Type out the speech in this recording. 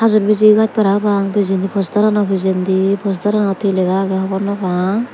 hajur bijigaz para pang pijendi postarano pijendi postaranot hi lega agey hobor naw pang.